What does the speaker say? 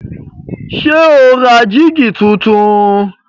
Ṣé o ra jígí tuntun?